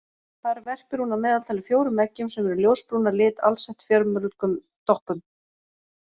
Þar verpir hún að meðaltali fjórum eggjum sem eru ljósbrún að lit alsett fjölmörgum doppum.